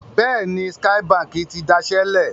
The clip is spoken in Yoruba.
Bẹ́ẹ̀ni, Skye Báńkì ti dasẹ́ lẹ̀.